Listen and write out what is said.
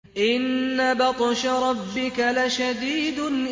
إِنَّ بَطْشَ رَبِّكَ لَشَدِيدٌ